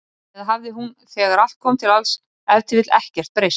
Eða hafði hún, þegar allt kom til alls, ef til vill ekkert breyst?